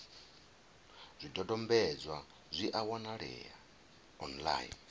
zwidodombedzwa zwi a wanalea online